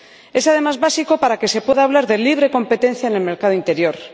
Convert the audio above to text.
Es, además, básico para que se pueda hablar de libre competencia en el mercado interior.